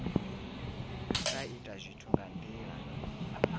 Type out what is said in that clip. sa ita zwithu nga ndila